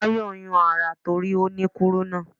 Tayọ̀ ń yún ara torí ó ní kúrúnà.